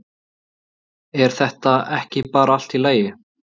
Er þetta ekki bara allt í lagi?